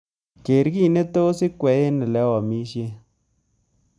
Keer kiiy netos ikwei eng olegiamishen